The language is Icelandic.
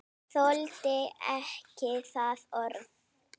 Þoldi ekki það orð.